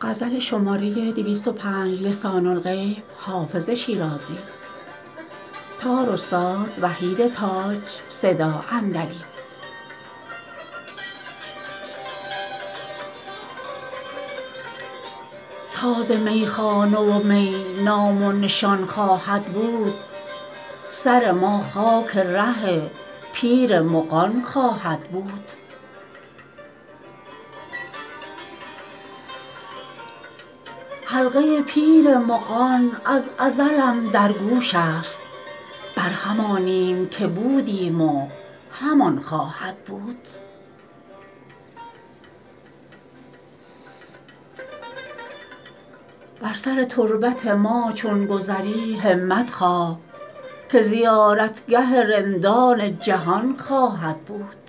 تا ز میخانه و می نام و نشان خواهد بود سر ما خاک ره پیر مغان خواهد بود حلقه پیر مغان از ازلم در گوش است بر همانیم که بودیم و همان خواهد بود بر سر تربت ما چون گذری همت خواه که زیارتگه رندان جهان خواهد بود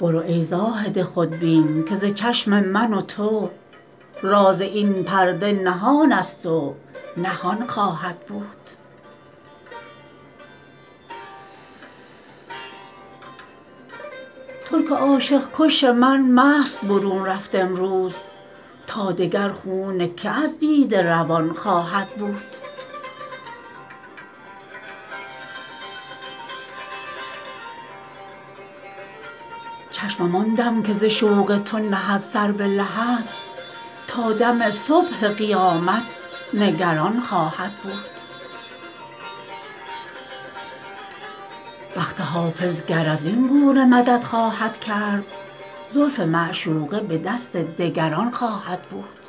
برو ای زاهد خودبین که ز چشم من و تو راز این پرده نهان است و نهان خواهد بود ترک عاشق کش من مست برون رفت امروز تا دگر خون که از دیده روان خواهد بود چشمم آن دم که ز شوق تو نهد سر به لحد تا دم صبح قیامت نگران خواهد بود بخت حافظ گر از این گونه مدد خواهد کرد زلف معشوقه به دست دگران خواهد بود